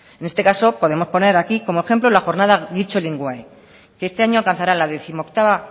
en este caso podemos poner aquí como ejemplo la jornada que este año alcanzará la décimoctava